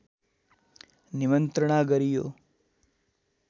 निमन्त्रणा गरियो